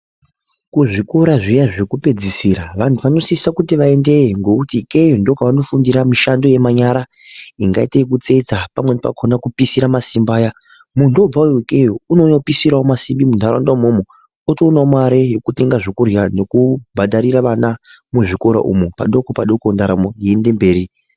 kuzvikora zviya zvokupedzisira vanhu vanosise kuti veendeyo ngekuti ikeyo ndiko kwaanofundira mishando yemanyara ingaite yekutsetsa pamweni pakona kupisira masimbi aya muntu obvawo ikeyo unoouya opisirawo masimbi munharaunda umwomwo otowonawo mare yekutenga zvekurya nekubhadharire vana muzvikora umu padoko padoko ndaramo yeiende mberi.